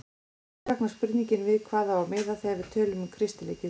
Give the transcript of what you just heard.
Því vaknar spurningin við hvað á að miða þegar við tölum um kristileg gildi?